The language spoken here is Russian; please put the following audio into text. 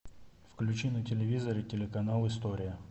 включи на телевизоре телеканал история